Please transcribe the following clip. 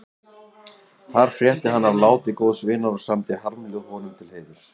Þar frétti hann af láti góðs vinar og samdi harmljóð honum til heiðurs.